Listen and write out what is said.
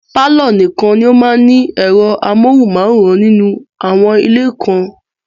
Pàlọ́ nìkan ni ó máa ń ní ẹ̀rọ amóhùnmáwòrán nínú àwọn ilé kan